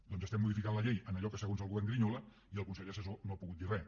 doncs estem modificant la llei en allò que segons el govern grinyola i el consell assessor no ha pogut dir res